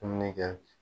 Dumuni kɛ